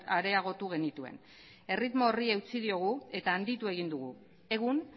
areagotu genituen erritmo horri eutsi diogu eta handitu egin dugu egun